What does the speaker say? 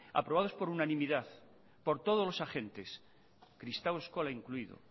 aprobados por unanimidad por todos los agentes kristau eskola incluido